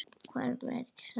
Hverjum er ekki sama?